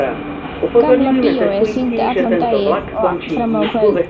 Gamla bíóið sýndi allan daginn og fram á kvöld.